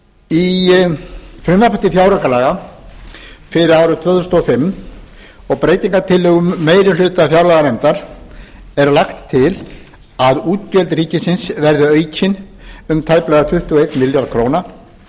í frumvarpi til fjáraukalaga fyrir árið tvö þúsund og fimm og breytingartillögum meiri hluta fjárlaganefndar er lagt til að útgjöld ríkisins verði aukin um tæplega tuttugu og einn milljarð króna